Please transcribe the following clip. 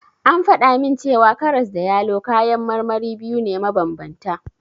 An faɗa min cewa karas da yalo kayan marmari biyu ne mabanbanta.